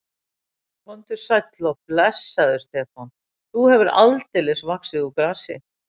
Komdu sæll og blessaður, Stefán, þú hefur aldeilis vaxið úr grasi.